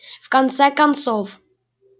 в конце концов